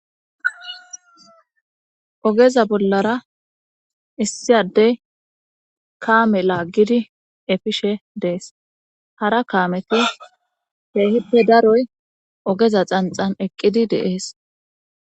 ogeza bollara issiyadey kaame laaggidi efishe dees hara kaameti heehippe daroy ogeza xanxan eqqidi deees